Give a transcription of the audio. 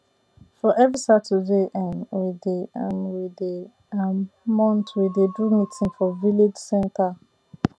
for every saturday um wey dey um wey dey um month we dey do meeting for village center